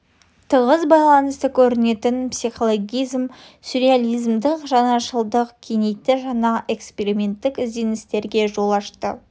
тығыз байланысты көрінетін психологизм сюрреализмдік жаңашылдық кеңейтті жаңа эксперименттік ізденістерге жол ашты